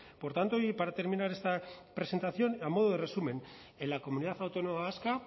por tanto y para terminar esta presentación a modo de resumen en la comunidad autónoma vasca